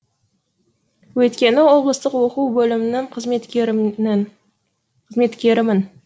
өйткені облыстық оқу бөлімінің қызметкерімін